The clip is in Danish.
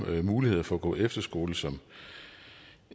muligheder for på efterskole som